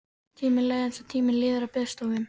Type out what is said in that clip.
Tíminn leið eins og tíminn líður á biðstofum.